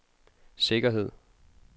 sikkerhed